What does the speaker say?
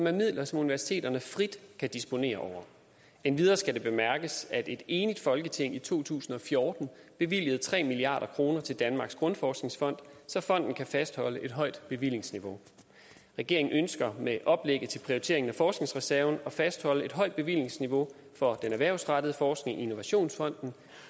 er midler som universiteterne frit kan disponere over endvidere skal det bemærkes at et enigt folketing i to tusind og fjorten bevilgede tre milliard kroner til danmarks grundforskningsfond så fonden kan fastholde et højt bevillingsniveau regeringen ønsker med oplægget til prioriteringen af forskningsreserven at fastholde et højt bevillingsniveau for den erhvervsrettede forskning i innovationsfonden